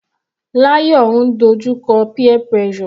Layo ń dojú kọ peer pressure.